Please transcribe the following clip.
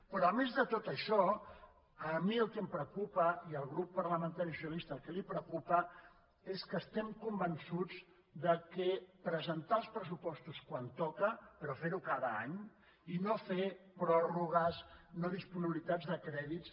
però a més de tot això a mi el que em preocupa i al grup parlamentari socialista el que li preocupa és que estem convençuts que presentar els pressupostos quan toca però fer ho cada any i no fer pròrrogues no disponibilitat de crèdits